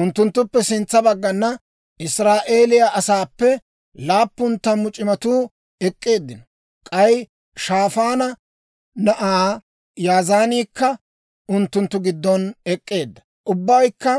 Unttunttuppe sintsa baggana Israa'eeliyaa asaappe laappun tammu c'imatuu ek'k'eeddino; k'ay Shaafaanna na'aa Yazaaniikka unttunttu giddon ek'k'eedda. Ubbaykka